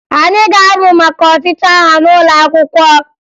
Anyị ga-amụ maka ọchịchị agha n'ụlọ akwụkwọ